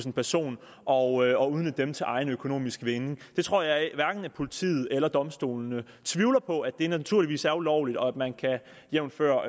en person og dem til egen økonomisk vinding jeg tror at hverken politiet eller domstolene tvivler på at det naturligvis er ulovligt og at man jævnfør